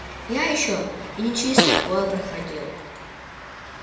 я ещё и не через такое проходил